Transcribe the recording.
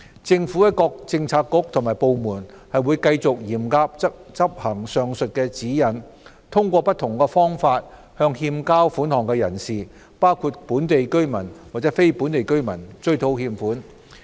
政府各政策局和部門會繼續嚴格執行上述指引，通過不同方法向欠交款項人士，包括本地居民和非本地居民，追討欠款。